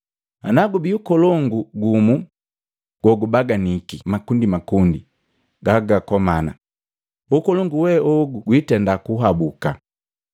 Nagubii ukolongu gumu gogubaganiki makundimakundi gagakomana, ukolongu we ogu gwiitenda kuhabuka.